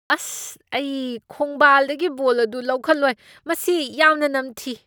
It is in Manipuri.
ꯑꯁ, ꯑꯩ ꯈꯣꯡꯕꯥꯜꯗꯒꯤ ꯕꯣꯜ ꯑꯗꯨ ꯂꯧꯈꯠꯂꯣꯏ꯫ ꯃꯁꯤ ꯌꯥꯝꯅ ꯅꯝꯊꯤ꯫